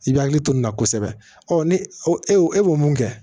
I bɛ hakili to nin na kosɛbɛ ɔ ni o e y'o e b'o mun kɛ